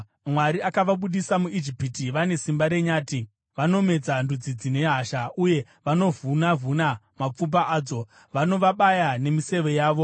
“Mwari akavabudisa muIjipiti; vane simba renyati. Vanomedza ndudzi dzine hasha uye vanovhuna-vhuna mapfupa adzo; Vanovabaya nemiseve yavo.